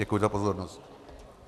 Děkuji za pozornost.